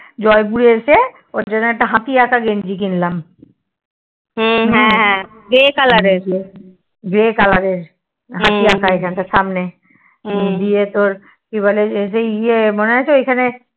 জয়পুরে এসে ওর জন্য একটা হাতি আঁকা একটা গেঞ্জি কিনলাম হ্যা হ্যা Grey Color এর হাতি আঁকা এখানটা সামনে দিয়ে তোর মনে আছে